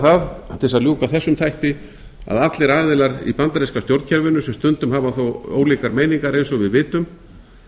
það til þess að ljúka þessum þætti að allir aðilar í bandaríska stjórnkerfinu sem stundum hafa þó ólíkar meiningar eins og við vitum